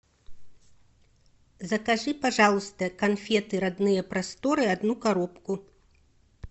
закажи пожалуйста конфеты родные просторы одну коробку